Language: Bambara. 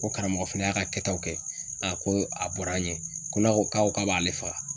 Ko karamɔgɔ fɛnɛ y'a ka kɛtaw kɛ, a ko a bɔra an ɲɛ, ko n'a ko k'a ko k'a b'ale faga